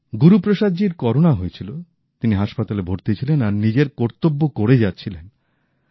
গুরুপ্রসাদ জীর করোনা হয়েছিল তিনি হাসপাতালে ভর্তি ছিলেন আর নিজের কর্তব্য করে যাচ্ছিলেন